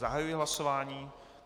Zahajuji hlasování.